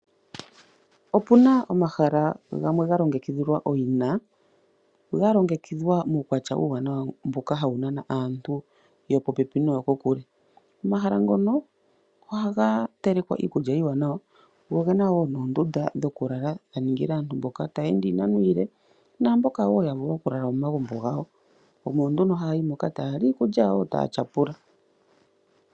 Opu na omahala gamwe ga longekidhwa owina ga longekidhwa muukwatya uuwanawa mboka hawu nana aantu yopopepi noyo kokule. Omahala ngono ohaga telekwa iikulya iiwanawa go oge na wo noondunda dhokulala dha ningila aantu mboka taya ende iinano iile naamboka wo ya vulwa okulala momagumbo gawo omo nduno haya yi moka taya li iikulya yawo taya tyapula.